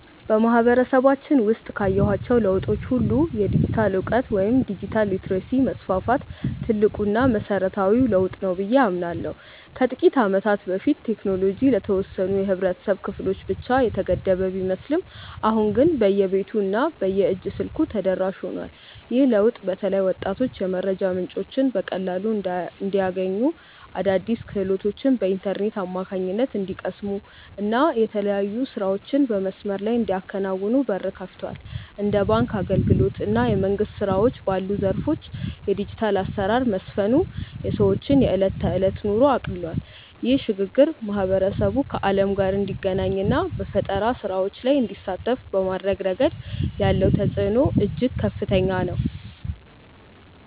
በማህበረሰባችን ውስጥ ካየኋቸው ለውጦች ሁሉ የዲጂታል እውቀት ወይም ዲጂታል ሊተረሲ መስፋፋት ትልቁና መሰረታዊው ለውጥ ነው ብዬ አምናለሁ። ከጥቂት ዓመታት በፊት ቴክኖሎጂ ለተወሰኑ የህብረተሰብ ክፍሎች ብቻ የተገደበ ቢመስልም አሁን ግን በየቤቱ እና በየእጅ ስልኩ ተደራሽ ሆኗል። ይህ ለውጥ በተለይ ወጣቶች የመረጃ ምንጮችን በቀላሉ እንዲያገኙ፣ አዳዲስ ክህሎቶችን በኢንተርኔት አማካኝነት እንዲቀስሙ እና የተለያዩ ስራዎችን በመስመር ላይ እንዲያከናውኑ በር ከፍቷል። እንደ ባንክ አገልግሎት እና የመንግስት ስራዎች ባሉ ዘርፎች የዲጂታል አሰራር መስፈኑ የሰዎችን የዕለት ተዕለት ኑሮ አቅልሏል። ይህ ሽግግር ማህበረሰቡ ከዓለም ጋር እንዲገናኝ እና በፈጠራ ስራዎች ላይ እንዲሳተፍ በማድረግ ረገድ ያለው ተጽዕኖ እጅግ ከፍተኛ ነው።